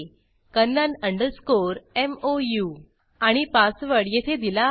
Kannan mou आणि password येथे दिला आहे